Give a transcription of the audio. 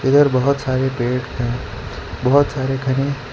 इधर बाहोत सारे पेड़ हैं बाहोत सारे घने --